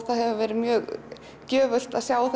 það hefur verið mjög gjöfult að sjá